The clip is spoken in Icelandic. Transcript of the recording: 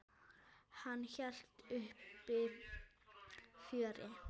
Hann hélt uppi fjöri.